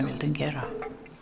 vildum gera